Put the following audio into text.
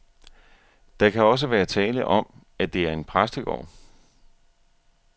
Der kan også være tale om, at det er en præstegård.